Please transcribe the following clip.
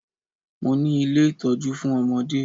Mo ni ilé ìtọ́jú fún ọmọdé